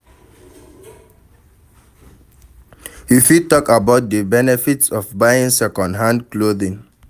You fit talk about di benefits of buying second-hand clothing.